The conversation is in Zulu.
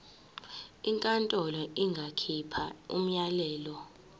inkantolo ingakhipha umyalelo